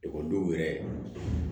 Ekɔlidenw yɛrɛ